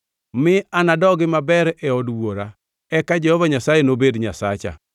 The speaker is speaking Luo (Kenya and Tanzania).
mi anadogi maber e od wuora eka Jehova Nyasaye nobed Nyasacha,